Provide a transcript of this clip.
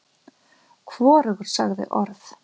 Hvorugur sagði orð.